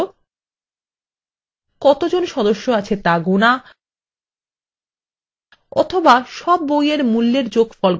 এর কিছু উদাহরণ হল কতজন সদস্য আছে তা গোনা অথবা sum বই এর মূল্যের যোগফল গণনা করা